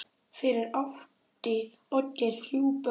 Fyrir átti Oddgeir þrjú börn.